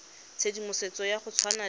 tshedimosetso ya go tshwana le